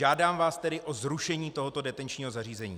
Žádám vás tedy o zrušení tohoto detenčního zařízení.